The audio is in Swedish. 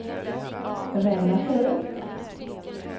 relativt